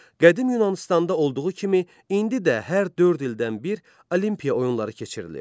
Qədim Yunanıstanda olduğu kimi, indi də hər dörd ildən bir Olimpiya oyunları keçirilir.